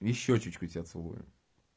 и в щёчечку тебя целую